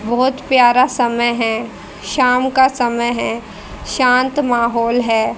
बहोत प्यारा समय है शाम का समय है शांत महौल है।